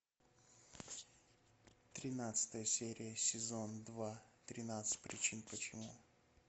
тринадцатая серия сезон два тринадцать причин почему